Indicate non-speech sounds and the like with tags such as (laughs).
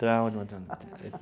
Trauma de matemática. (laughs)